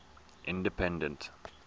independent